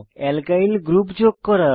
alkyl group যোগ করা